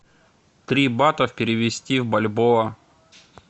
три батов перевести в бальбоа